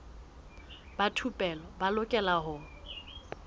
ba thupelo ba lokela ho